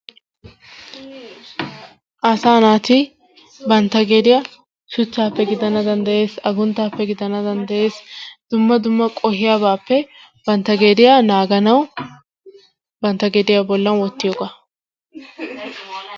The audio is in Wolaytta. Asaa naati bantta gediya shuchchaappe gidana danddayees, agunttaappe gidana danddayees, dumma dumma qohiyabaappe bantta gediya naaganawu bantta gediy bollan wottiyogaa.